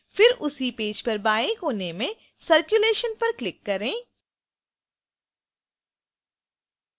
फिर उसी पेज पर बाएँ कोने में circulation पर click करें